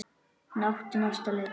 Hann átti næsta leik.